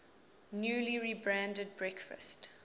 newly rebranded breakfast